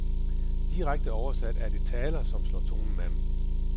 Direkte oversat er det taler som slår tonen an.